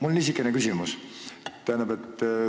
Hea ettekandja!